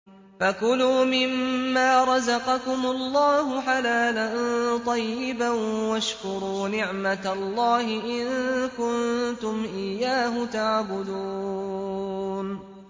فَكُلُوا مِمَّا رَزَقَكُمُ اللَّهُ حَلَالًا طَيِّبًا وَاشْكُرُوا نِعْمَتَ اللَّهِ إِن كُنتُمْ إِيَّاهُ تَعْبُدُونَ